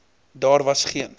daar was geen